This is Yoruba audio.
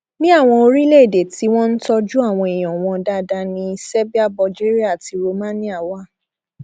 ní àwọn orílẹèdè tí wọn ń tọjú àwọn èèyàn wọn dáadáa ní serbia bulgaria àti romania wà